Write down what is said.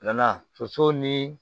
Nana soso ni